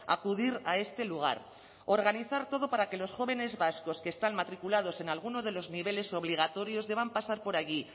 acudir a este lugar organizar todo para que los jóvenes vascos que están matriculados en alguno de los niveles obligatorios deban pasar por allí